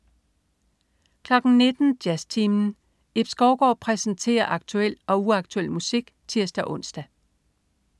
19.00 Jazztimen. Ib Skovgaard præsenterer aktuel og uaktuel musik (tirs-ons)